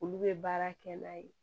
Olu bɛ baara kɛ n'a ye